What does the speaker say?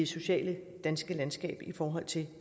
sociale landskab i forhold til